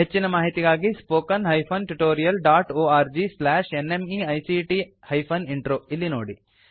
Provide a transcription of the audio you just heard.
ಹೆಚ್ಚಿನ ಮಾಹಿತಿಗಾಗಿ spoken hyphen tutorial dot org slash NMEICT hyphen intro ಇಲ್ಲಿ ನೋಡಿ